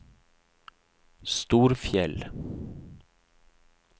Storfjell